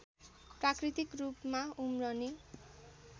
प्राकृतिक रूपमा उम्रने